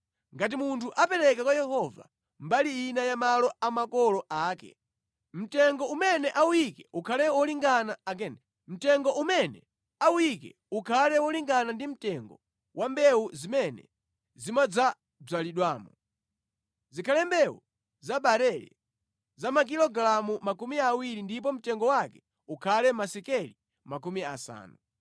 “ ‘Ngati munthu apereka kwa Yehova mbali ina ya malo a makolo ake, mtengo umene awuyike ukhale wolingana ndi mtengo wa mbewu zimene zimadzabzalidwamo. Zikhale mbewu za barele za makilogalamu makumi awiri ndipo mtengo wake ukhale masekeli makumi asanu.